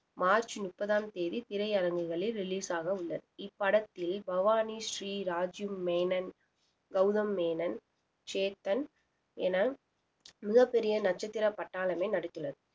March முப்பதாம் தேதி திரையரங்குகளில் release ஆக உள்ளது இப்படத்தில் பவானி ஸ்ரீராஜூ மேனன் கௌதம் மேனன் சேத்தன் என மிகப் பெரிய நட்சத்திர பட்டாளமே நடித்துள்ளது